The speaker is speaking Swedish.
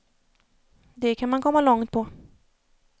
Det kan man komma långt på.